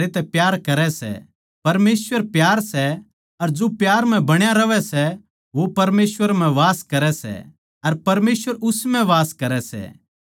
प्यार म्ह डर न्ही होंदा बल्के सिध्द प्यार डर नै दूर करदे सै क्यूँके डर का सम्बन्ध दण्ड तै होवै सै अर जो डरै सै वो प्यार म्ह सिध्द न्ही होया